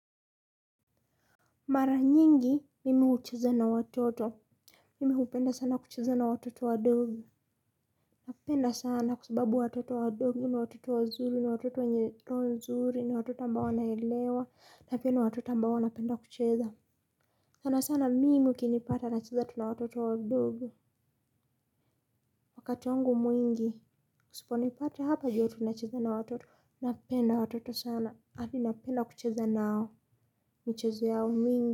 Mara nyingi, mimi hucheza na watoto. Mimi hupenda sana kucheza na watoto wadogo. Napenda sana kwa sababu watoto wadogo ni watoto wazuri ni watoto wenye roho nzuri ni watoto ambao naelewa napenda watoto ambao wanapenda kucheza. Sana sana mimi ukinipata nacheza na watoto wadogo. Wakati wangu mwingi, usiponipata hapa jua tu nacheza na watoto, napenda watoto sana. Adi napenda kucheza nao, michezo yao mingi.